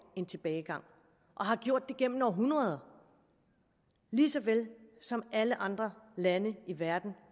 en tilbagegang og har gjort det gennem århundreder lige så vel som alle andre lande i verden